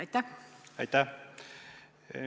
Aitäh!